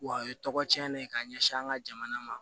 Wa a ye tɔgɔ cɛn de ye ka ɲɛsin an ka jamana ma